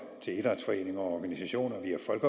til idrætsforeninger og organisationer